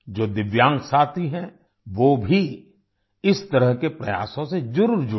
जो दिव्यांग साथी हैं वो भी इस तरह के प्रयासों से जरुर जुड़ें